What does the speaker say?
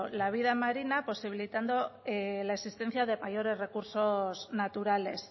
la vida marina posibilitando la existencia de mayores recursos naturales